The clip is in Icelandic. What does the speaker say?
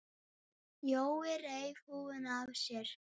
Jói reif húfuna af sér.